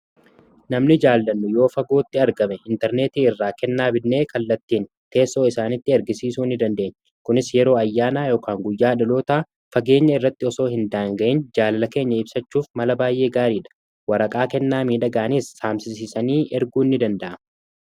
namni jaallannu yoo fagootti argame intarneetii irraa kennaa bidnee kallattiin teessoo isaanitti ergisiisuu ni dandeenye kunis yeroo ayyaana yookan guyyaa dhaloota fageenya irratti osoo hin daanga'in jaalala keenya ibsachuuf mala baay'ee gaariidha waraqaa kennaa miidhaganiis saamsisiisanii erguu ni danda'a